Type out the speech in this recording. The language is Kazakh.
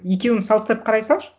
екеуін саластырып қарай салшы